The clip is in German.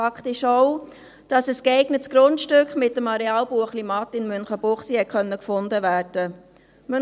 Fakt ist auch, dass mit dem Areal Buechlimatt in Münchenbuchsee ein geeignetes Grundstück gefunden werden konnte.